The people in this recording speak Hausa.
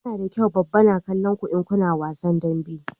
Yana da kyau baba na kallon ku in kuna wasan dambe